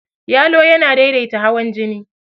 Yalo yana daidaita hawan jini.